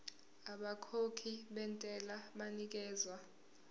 abakhokhi bentela banikezwa